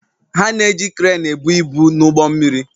Ha na-eji kreenị ebu ibu n'ụgbọ mmiri